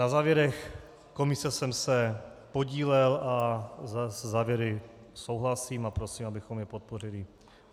Na závěrech komise jsem se podílel a se závěry souhlasím a prosím, abychom je podpořili.